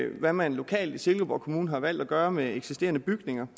hvad man lokalt i silkeborg kommune har valgt at gøre med eksisterende bygninger